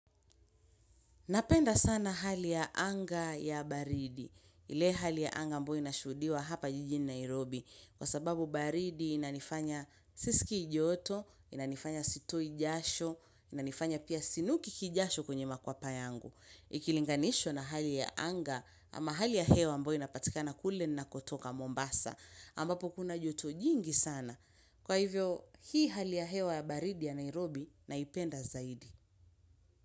Napenda sana hali ya anga ya baridi, ile hali ya anga ambayo inashuhudiwa hapa jijini Nairobi, kwa sababu baridi inanifanya sisikii joto, inanifanya sitoi jasho, inanifanya pia sinuki kijasho kwenye makwapa yangu. Ikilinganishwa na hali ya anga ama hali ya hewa ambayo inapatikana kule ninakotoka Mombasa, ambapo kuna joto jingi sana. Kwa hivyo, hii hali ya hewa ya baridi ya Nairobi naipenda zaidi.